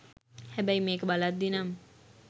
හැබැයි මේක බලද්දි නම්